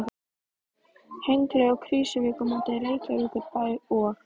Hengli og Krýsuvík á móti Reykjavíkurbæ og